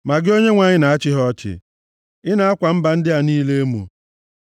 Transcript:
Ma gị Onyenwe anyị, na-achị ha ọchị; ị na-akwa mba ndị a niile emo.